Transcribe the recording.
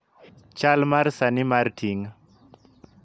Chal mar sani mar ting'